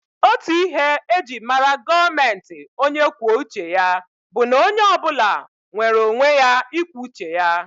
Otú ihe e ji mara gọọmenti onye kwuo uche ya bụ na onye ọ bụla nwere onwe ya ikwu uche ya